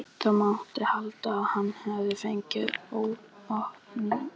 Það mátti halda að hann hefði fengið opinberun í draumi.